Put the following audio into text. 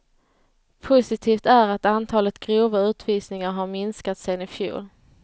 Positivt är att antalet grova utvisningar har minskat sen i fjol.